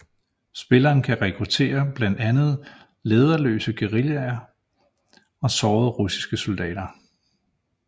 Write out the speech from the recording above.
Spilleren kan rekrutterre blandt andet lederløse guerillaer og sårede russiske soldater